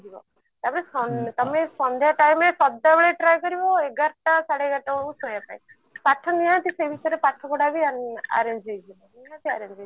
ତାପରେ ସ ତମେ ସନ୍ଧ୍ଯା time ରେ ସଦା ବେଳେ try କରିବ ଏଗାରଟା ସାଢେ ଏଗାରଟା ବେଳକୁ ଶୋଇବା ପାଇଁ ପାଠ ନିହାତି ପାଠ ସେଇ ହିସାବରେ ପାଠ ପଢା ବି ଆଇଂ arrange ହେଇ ଯିବ ନିହାତି arrange ହେଇଯିବ